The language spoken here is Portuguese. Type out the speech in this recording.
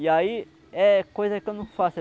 E aí, é coisa que eu não faço.